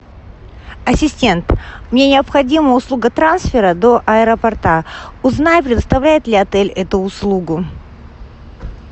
ассистент мне необходима услуга трансфера до аэропорта узнай предоставляет ли отель эту услугу